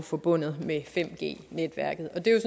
forbundet med 5g netværket og det er